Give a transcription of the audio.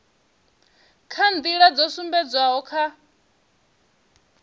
kha nḓila dzo sumbedzwaho kha